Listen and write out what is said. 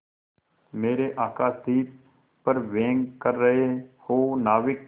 मेरे आकाशदीप पर व्यंग कर रहे हो नाविक